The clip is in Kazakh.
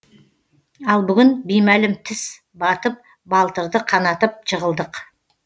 ал бүгін беймәлім тіс батып балтырды қанатып жығылдық